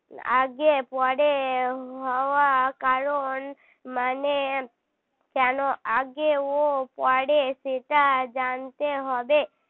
আগে পরে হওয়ার কারণ মানে কেন আগে ও পরে সেটা জানতে হবে